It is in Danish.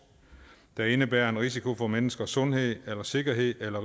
der indebærer en risiko for menneskers sundhed eller sikkerhed eller